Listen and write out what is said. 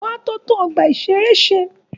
Wọ́n á tó tún ọgbà-ìṣeré ṣe